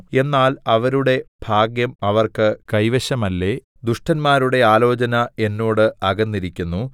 എന്നാൽ അവരുടെ ഭാഗ്യം അവർക്ക് കൈവശമല്ലേ ദുഷ്ടന്മാരുടെ ആലോചന എന്നോട് അകന്നിരിക്കുന്നു